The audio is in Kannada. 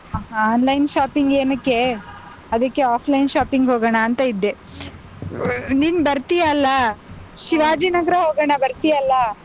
Online shopping ಏನಕ್ಕೇ? ಅದಿಕ್ಕೆ offline shopping ಹೋಗಣಾಂತ ಇದ್ದೆ, ನೀನ್ ಬರ್ತೀಯಾ ಅಲ್ಲಾ? ಶಿವಾಜಿ ನಗರ ಹೋಗೋಣ ಬರ್ತೀಯಲ್ಲಾ?